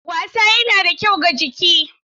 Wasa yana da kyau ga jiki.